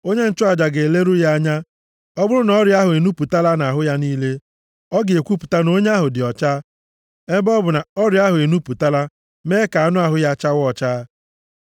onye nchụaja a ga-eleru ya anya, ọ bụrụ na ọrịa ahụ enupụtala nʼahụ ya niile, ọ ga-ekwupụta na onye ahụ dị ọcha, ebe ọ bụ na ọrịa ahụ enupụtala mee ka anụ ahụ ya chawa ọcha.